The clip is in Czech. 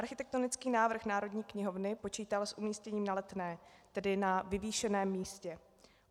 Architektonický návrh Národní knihovny počítal s umístěním na Letné, tedy na vyvýšeném místě.